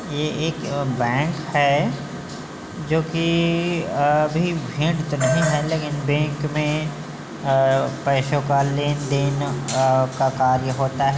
ये एक बैंक है जो की अभी भीड़ तो नहीं है लेकिन बैंक में आ पैसे का लेन देन का कार्य होता है |